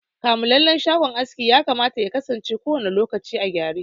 Kamulallen shagon aski yakama yakasance kowanne lokaci a gyare.